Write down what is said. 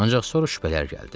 Ancaq son şübhələr gəldi.